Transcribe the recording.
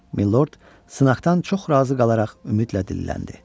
Milord sınaqdan çox razı qalaraq ümidlə dilləndi.